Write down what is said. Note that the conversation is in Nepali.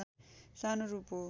सानो रूप हो